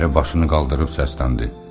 Əri başını qaldırıb səsləndi.